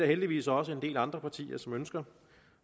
heldigvis også en del andre partier som ønsker